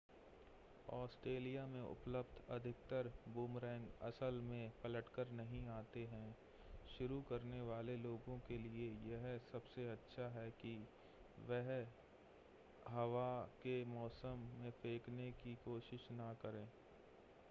Australia में उपलब्ध अधिकतर बूमरैंग असल में पलटकर नहीं आते हैं शुरू करने वाले लोगों के लिए यह सबसे अच्छा है कि वे हवा के मौसम में फेंकने की कोशिश न करें